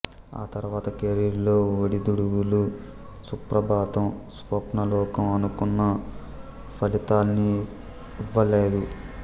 ఆతర్వాత కెరీర్ లో ఒడిదుడుకులు సుప్రభాతం స్వప్నలోకం అనుకున్న ఫలితాల్నివ్వలేదు